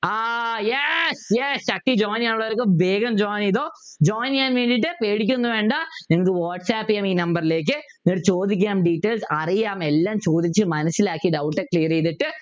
ആഹ് yes yes join ചെയ്യാനുള്ളവരൊക്കെ വേഗം join ചെയ്തോ join ചെയ്യാൻ വേണ്ടീട്ട് പേടിക്കുഒന്നും വേണ്ട നിങ്ങക്ക് വാട്സാപ്പ് ചെയ്യാം ഈ number ലേക്ക് എന്നിട്ട് ചോദിക്കാം details അറിയാം എല്ലാം ചോദിച്ചു മനസിലാക്കി clear ചെയ്തിട്ട്